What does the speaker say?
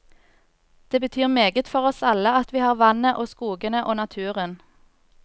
Det betyr meget for oss alle at vi har vannet og skogene og naturen.